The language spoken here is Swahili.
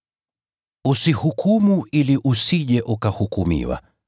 “Usihukumu ili usije ukahukumiwa.